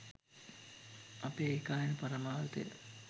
අපේ ඒකායන පරමාර්ථය